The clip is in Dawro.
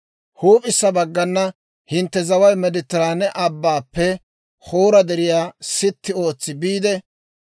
« ‹Huup'issa baggana hintte zaway Meediteraane Abbaappe Hoora Deriyaa sitti ootsi biide,